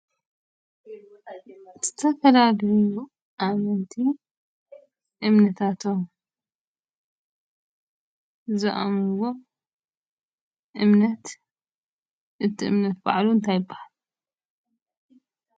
ዝተፈላለዩ ኣመንቲ እምነታቶም ዝኣምንዎ እምነት እቲ እምነት በዓሉ እንታይ ይብሃል?